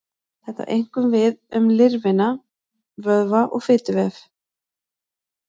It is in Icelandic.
Þetta á einkum við um lifrina, vöðva og fituvef.